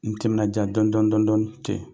N ye n timinandiya dɔƆnin dɔƆnin dɔɔnin ten,